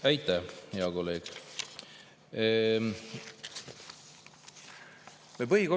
Aitäh, hea kolleeg!